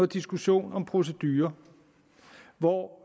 diskussion om procedurer hvor